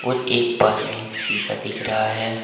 और एक पास में शीशा दिख रहा है।